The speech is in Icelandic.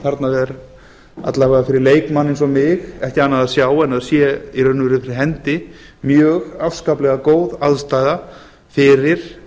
þarna er alla vega fyrir leikmann eins og mig ekki annað að sjá en það sé í rauninni fyrir hendi mjög afskaplega góð aðstaða fyrir